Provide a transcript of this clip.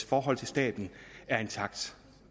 forhold til staten er intakt